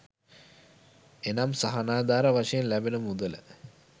එනම් සහනාධාර වශයෙන් ලැබෙන මුදල